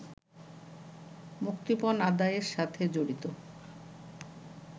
মুক্তিপণ আদায়ের সাথে জড়িত